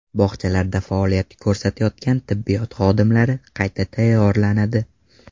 Bog‘chalarda faoliyat ko‘rsatayotgan tibbiyot xodimlari qayta tayyorlanadi.